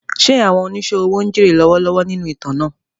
Ṣé àwọn oníṣòwò ń jèrè lọ́wọ́lọ́wọ́ nínú ìtàn náà?